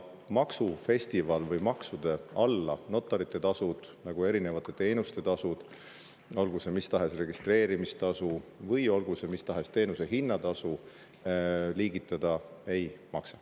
Maksufestivali või maksude alla notaritasusid, nagu üldse erinevaid teenustasusid, olgu see mis tahes registreerimistasu või mis tahes teenuse eest makstav tasu, liigitada ei maksa.